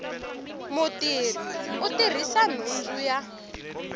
mutirhi u tirhisa nhundzu ya